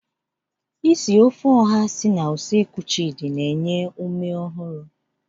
Isi ofe oha si na usekwu Chidi na-enye ume ọhụrụ.